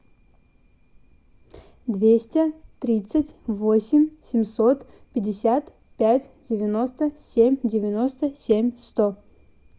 двести тридцать восемь семьсот пятьдесят пять девяносто семь девяносто семь сто